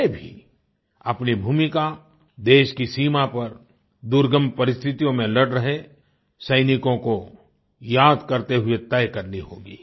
हमें भी अपनी भूमिका देश की सीमा पर दुर्गम परिस्तिथियों में लड़ रहे सैनिकों को याद करते हुए तय करनी होगी